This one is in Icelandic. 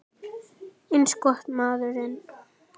Eins gott, maður minn